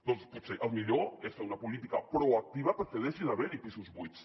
doncs potser el millor és fer una política proactiva perquè deixi d’haver hi pisos buits